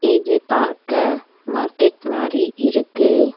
இது பாக்க மார்க்கெட் மாரி இருக்கு.